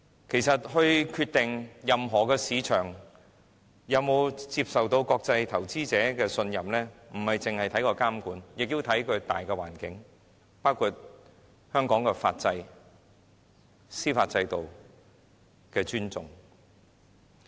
其實，決定任何市場是否受到國際投資者的信任，並非只着眼於監管，更要視乎大環境，包括香港對法制、對司法制度的尊重。